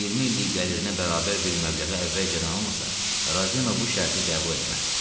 20 illik gəlirinə bərabər bir məbləği əvvəlcədən almasa, Ravino bu şərti qəbul eləməz.